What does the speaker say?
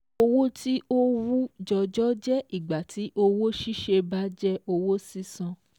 Owó tí ó wú jọjọ jẹ́ ìgbà tí owó ṣíṣe bá jẹ́ owó sísan